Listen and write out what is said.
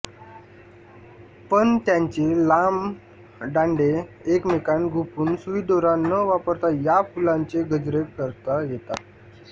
पण त्यांचे लांब दांडे एकमेकांत गुंफून सुईदोरा न वापरता या फुलांचे गजरे करता येतात